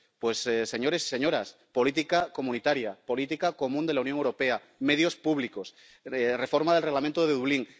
Pues, señores y señoras, política comunitaria, política común de la Unión Europea, medios públicos, reforma del Reglamento de Dublín.